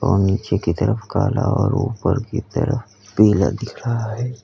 और नीचे की तरफ काला और ऊपर की तरफ पीला दिख रहा है।